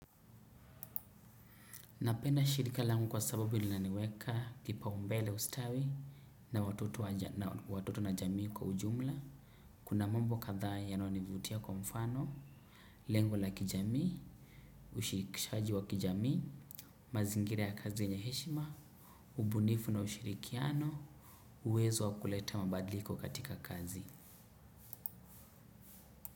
Napenda shirika langu kwa sababu linaniweka kipaumbele ustawi na watoto na jamii kwa ujumla. Kuna mambo kadhaa yanayonivutia kwa mfano, lengo la kijamii, ushirikishaji wa kijamii, mazingira ya kazi yenye heshima, ubunifu na ushirikiano, uwezo wa kuleta mabadliko katika kazi.